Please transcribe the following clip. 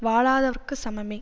வாழாதவர்க்குச் சமமே